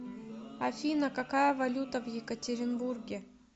афина какая валюта в екатеринбурге